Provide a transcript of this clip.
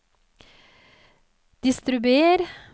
distribuer